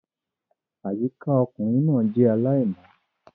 Àyíká ọkùnrin náà jẹ́ aláìmọ́